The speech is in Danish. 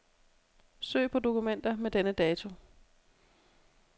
Søg på dokumenter med denne dato.